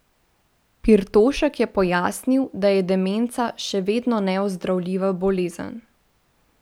Pirtošek je pojasnil, da je demenca še vedno neozdravljiva bolezen.